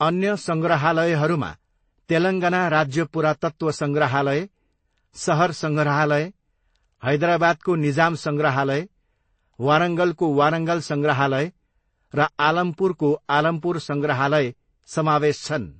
अन्य सङग्रहालयहरूमा तेलङ्गना राज्य पुरातत्त्व सङ्ग्रहालय, सहर सङ्ग्रहालय, हैदराबादको निजाम सङ्ग्रहालय, वारङ्गलको वारङ्गल सङ्ग्रहालय र आलमपुरको आलमपुर सङ्ग्रहालय समावेश छन्।